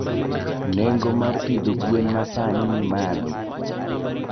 Nengo mar pidho gwen masani ni malo.